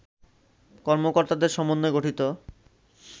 কর্মকর্তাদের সমন্বয়ে গঠিত